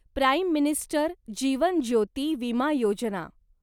prime minister Jeevan Jyoti Bima Yojana